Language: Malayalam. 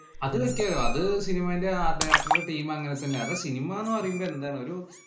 അത് set ചെയ്യും. അത് cinema ഏന്‍റെ art director ഉടെ team അങ്ങനെ തന്നെയാ. അത് സിനിമ എന്ന് പറയുമ്പ എന്താണ്. ഒരു